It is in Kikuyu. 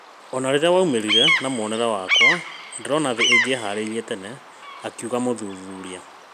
Ona rĩrĩa waumĩrire na muonere wakwa, ndĩrona thĩ ĩngĩeharĩirie tene, akiuga mũthuthuria